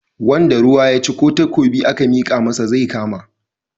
Wanda ruwa ya ci ko takobi aka mika masa zai kama.